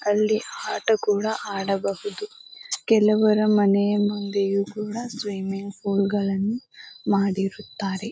ಅಲ್ಲಿ ಆಟ ಕೂಡ ಆಡಬಹುದು ಕೆಲವರ ಮನೆಯ ಮುಂದೆಯೂ ಕೂಡ ಸ್ವಿಮ್ಮಿಂಗ್ ಫೂಲ್ ಗಳನ್ನು ಮಾಡಿರುತ್ತಾರೆ .